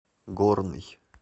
горный